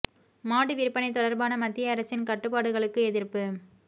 மாடு விற்பனை தொடர்பான மத்திய அரசின் கட்டுப்பாடுகளுக்கு எதிர்ப்பு